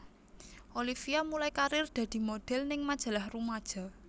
Olivia mulai karir dadi modhel ning majalah rumaja